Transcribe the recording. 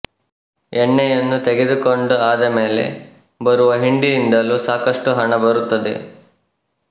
ಎಣ್ಣೆಯನ್ನು ತೆಗೆದುಕೊಂಡು ಆದಮೇಲೆ ಬರುವ ಹಿಂಡಿಯಿಂದಲೂ ಸಾಕಷ್ಟು ಹಣ ಬರುತ್ತದೆ